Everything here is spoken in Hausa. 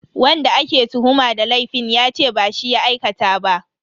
Wanda ake tuhuma da laifin yace ba shi ya aikata ba.